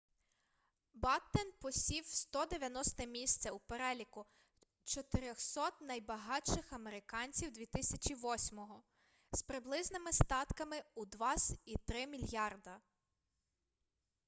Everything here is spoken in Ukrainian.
баттен посів 190-те місце у переліку 400-от найбагатших американців 2008-го з приблизними статками у 2.3 мільярда